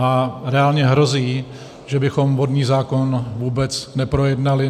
A reálně hrozí, že bychom vodní zákon vůbec neprojednali.